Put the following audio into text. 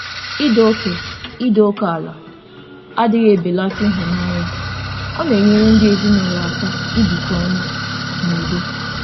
Ido oke Ido oke ala adịghị ebelata ịhụnanya; ọ na-enyere ndị ezinụlọ aka ibikọ ọnụ n'udo.